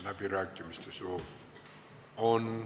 Läbirääkimiste soovi on.